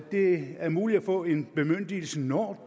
det er muligt at få en bemyndigelse når